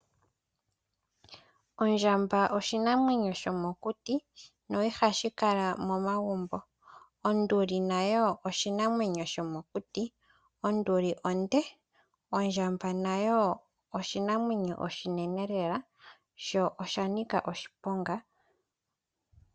Ondjamba oshinamwenyo shomokuti no ihashi Kala momagumbo. Onduli nayo oshinamwenyo shomokuti, onduli onde. Ondjamba nayo oshinamwenyo oshinene lela sho oshanika oshiponga.